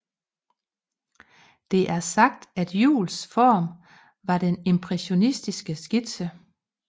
Det er sagt at Juuls form var den impressionistiske skitse